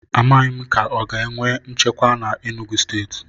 A maghi m ka o ga enwe nchekwa na Enugwu stééti